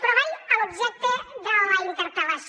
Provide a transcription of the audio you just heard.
però vaig a l’objecte de la interpel·lació